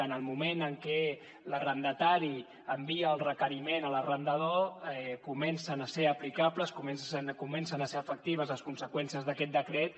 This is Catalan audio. en el moment en què l’arrendatari envia el requeriment a l’arrendador comencen a ser aplicables comencen a ser efectives les conseqüències d’aquest decret